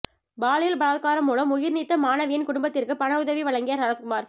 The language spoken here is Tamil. பாலியல் பலாத்காரம் மூலம் உயிர் நீத்த மாணவியின் குடும்பத்திற்கு பணயுதவி வழங்கிய சரத்குமார்